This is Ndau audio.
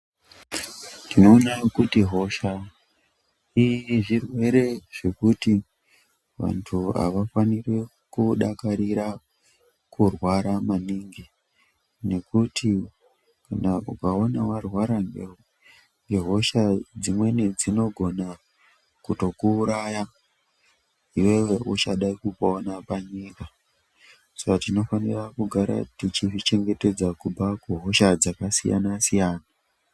Tinona kuti hosha zvirwere zvekuti vantu havafaniri kudakarira kurwara maningi. Ngekuti ukaona varwara ngehosha dzimweni dzinogona kutokuuraya iveve uchada kupona panyika. Saka tinofanira kugara tichizvichengetedza kubva kuhosha dzakasiyana-siyana.